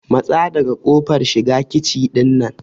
Matsa daga kofar shiga kici ɗin nan!